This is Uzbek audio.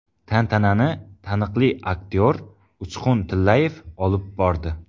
Tantanani taniqli aktyor Uchqun Tillayev olib bordi.